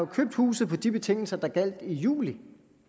købt huset på de betingelser der gjaldt i juli